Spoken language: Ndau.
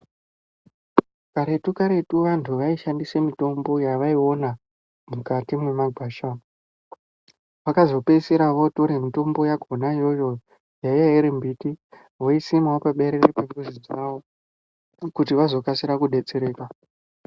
Karetu-karetu vantu vashandise mitombo yavaiona mukati mwemagwasha. Vakazopeisira votore mitombo yakhona iyoyo yaiya iri mbiti voisimawo paberere pemizi dzavo kuti vazokasira kudetsereka.